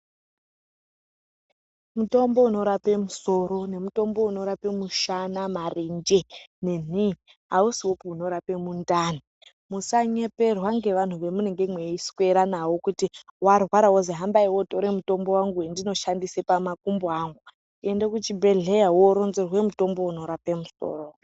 Mitombo inorapa musoro nemitombo inorapa mushana marenje nenhii aisiyopi inorapa mundani musanyeperwa ngeanthu vamunenge meiswere nao kuti warwara woti hambai wotora mutombo wangu wandinoshandisa pamakumbo angu ende kuchibhedhlera woronzerwe mutombo unorapa musoro.